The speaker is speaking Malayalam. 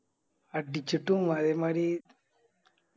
അടിച്ചിട്ടും അതെ മാരി